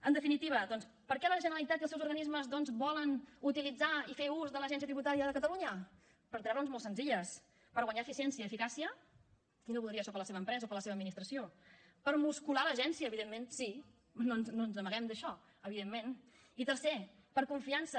en definitiva doncs per què la generalitat i els seus organismes volen utilitzar i fer ús de l’agència tributària de catalunya per tres raons molt senzilles per guanyar eficiència i eficàcia qui no voldria això per a la seva empresa o per a la seva administració per muscular l’agència evidentment sí no ens n’amaguem d’això evidentment i tercer per confiança